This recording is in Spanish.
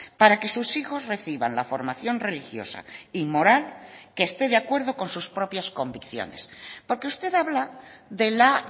para que sus hijos reciban la formación religiosa y moral que esté de acuerdo con sus propias convicciones porque usted habla de la